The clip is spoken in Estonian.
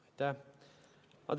Aitäh!